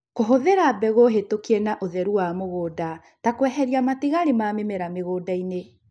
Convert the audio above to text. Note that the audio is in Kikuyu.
Kũhuthĩra mbegũ hetũkie na ũtheru wa mũgũnda ta kweheria matigali ma mĩmera mũgũndainĩ